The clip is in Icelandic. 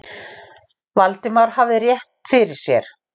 Valdimar hafði rétt fyrir sér.